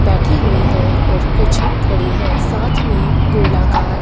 बैठी हुई है और कुछ खड़ी है साथ में गोलाकार --